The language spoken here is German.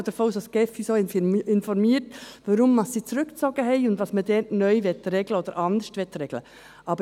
Ich gehe davon aus, dass die GEF uns darüber informiert, weshalb sie zurückgezogen haben und was man dort neu oder anders regeln will.